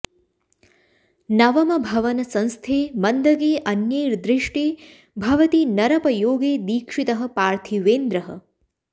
नवम भवन संस्थे मन्दगे अन्यैर्दृष्टे भवति नरपयोगे दीक्षितः पार्थिवेन्द्रः